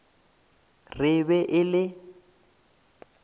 re e be e le